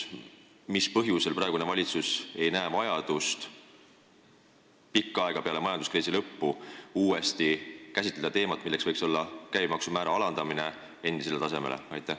Mis põhjusel praegune valitsus ei näe vajadust pikka aega peale majanduskriisi lõppu uuesti seda teemat käsitleda ja alandada käibemaksu määra endisele tasemele?